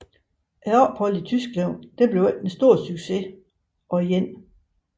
Opholdet i Tyskland blev ikke den store succes og 1